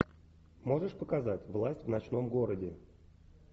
можешь показать власть в ночном городе